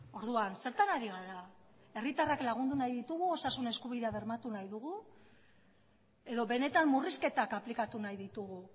orduan zertan ari gara herritarrak lagundu nahi ditugu osasun eskubidea bermatu nahi dugu edo benetan murrizketak aplikatu nahi ditugu